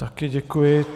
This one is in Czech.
Také děkuji.